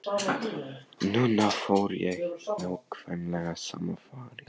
Núna fór ég í nákvæmlega sama farið.